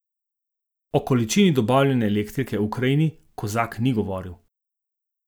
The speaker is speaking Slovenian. O količini dobavljene elektrike Ukrajini Kozak ni govoril.